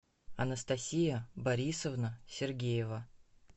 анастасия борисовна сергеева